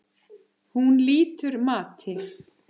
Hún lýtur mati.